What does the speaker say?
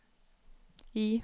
I